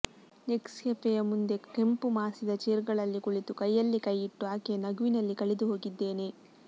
ನೆಕ್ಸೆಫೆಯ ಮುಂದೆ ಕೆಂಪುಮಾಸಿದ ಚೇರ್ಗಳಲ್ಲಿ ಕುಳಿತು ಕೈಯಲ್ಲಿ ಕೈಯಿಟ್ಟು ಆಕೆಯ ನಗುವಿನಲ್ಲಿ ಕಳೆದುಹೋಗಿದ್ದೆನೆ